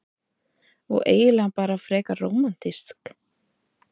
Og eiginlega bara frekar rómantískt.